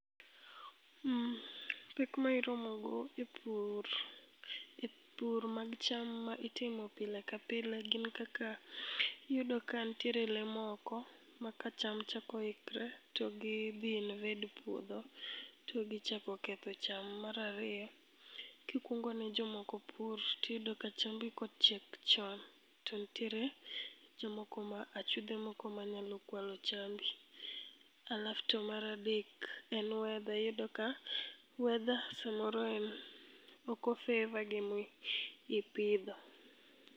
Pek ma iromogo e pur, e pur mar cham ma itimo pile ka pile gin kaka iyudo ka nitie lee moko ma ka cham chako ikore to gi invade puodho to gichako ketho cham. Mar ariyo kikuongo ne jomoko pur tiyudo ka ka chambi kochiek chonto nitiere, achudhe moko manyalo kwalo chambi. Halaf to mar adek en weather , iyudo ka weather samoro en, ok o favour gima ipidho